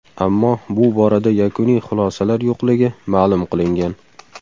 Ammo bu borada yakuniy xulosalar yo‘qligi ma’lum qilingan .